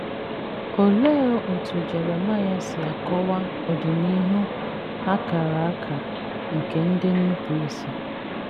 Olee otú Jeremaịa si akọwa ọdịnihu a kara aka nke ndị nnupụisi?